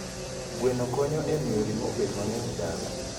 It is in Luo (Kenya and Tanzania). Gweno konyo e miyo ring'o obed mang'eny e dala.